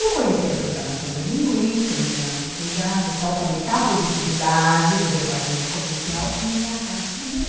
Eu conheci a programação neurolinguística num treinamento que foi dado, tal, para aumentar a produtividade do departamento comercial e me apaixonei.